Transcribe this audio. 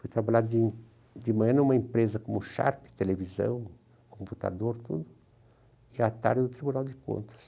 Fui trabalhar de de manhã numa empresa como o Sharp, televisão, computador, tudo, e à tarde no Tribunal de Contas.